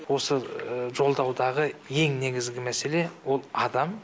осы жолдаудағы ең негізгі мәселе ол адам